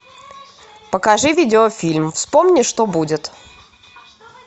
покажи видеофильм вспомни что будет